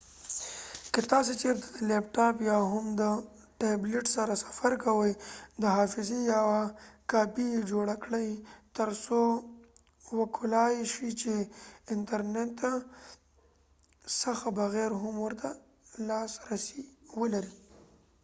که تاسی چیرته د لیپ ټاپ یا هم د ټابلیټ سره سفر کوی . دحافظی یوه کاپی یی جوړه کړی تر څو وکولای شی چی د انتر نت څخه بغیر هم ورته لاسرسی ولرئ